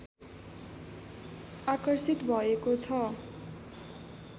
आकर्षित भएको छ